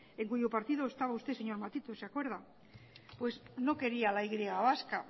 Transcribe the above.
en cuyo partido estaba usted señor matute se acuerda no quería la y vasca